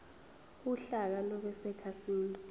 uhlaka lube sekhasini